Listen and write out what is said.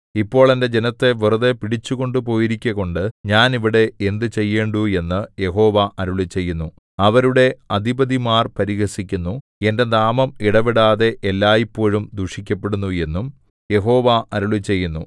ഇപ്പോൾ എന്റെ ജനത്തെ വെറുതെ പിടിച്ചു കൊണ്ടുപോയിരിക്കുകകൊണ്ടു ഞാൻ ഇവിടെ എന്ത് ചെയ്യേണ്ടു എന്നു യഹോവ അരുളിച്ചെയ്യുന്നു അവരുടെ അധിപതിമാർ പരിഹസിക്കുന്നു എന്റെ നാമം ഇടവിടാതെ എല്ലായ്പോഴും ദുഷിക്കപ്പെടുന്നു എന്നും യഹോവ അരുളിച്ചെയ്യുന്നു